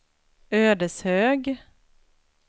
Ödeshög